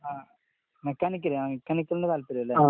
ആഹ്. മെക്കാനിക്കലാ മെക്കാനിക്കലിനാ താല്പര്യല്ലേ?